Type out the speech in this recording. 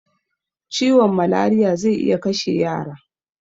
Ciwon malariya zai iya kashe yara